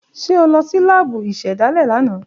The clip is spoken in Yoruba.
Ṣe o lọ si laabu isedale lana?